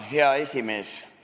Hea esimees!